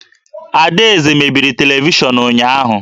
Adaeze mebiri televishọnụ ụnyahụ